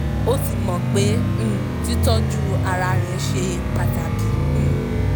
ó ti mọ̀ pé um títọ́jú ara rẹ̀ ṣe pàtàkì um